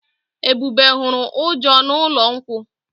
Ebube huru Uju n'ụlọ nkwu.